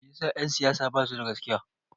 Meyasa en siyasa basu da gaskiya?